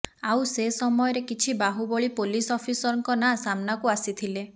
ଆଉ ସେ ସମୟରେ କିଛି ବାହୁବଳୀ ପୋଲିସ ଅଫିସରଙ୍କ ନାଁ ସାମ୍ନାକୁ ଆସିଥିଲେ